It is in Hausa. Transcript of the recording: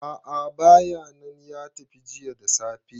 a`a bayanan ya tafi jiya da safe